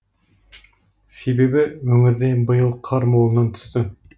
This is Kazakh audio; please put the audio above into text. себебі өңірде биыл қар молынан түсті